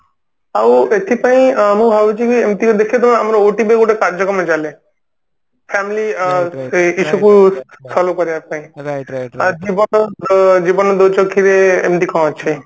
ଆଉ ଏଥିପାଇଁ ଅ ଆମେ ଭାବୁଛୁ କି ଏମତି କି ଦେଖିଥିବ ଆମର OTV ରେ ଗୋଟେ କାର୍ଯ୍ୟକ୍ରମ ଚାଲେ family ଏସବୁ କରିବା ପାଇଁ ଜୀବନ ଦୋ ଛକିରେ ଏମତି କଣ ଅଛି